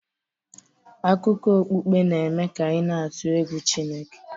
Akụkọ okpukpe n'eme ka anyị na-atụ egwu Chineke